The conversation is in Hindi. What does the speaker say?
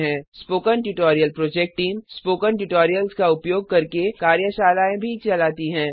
spoken tutorial project team spoken tutorial का उपयोग करके कार्यशालाएँ भी चलाती है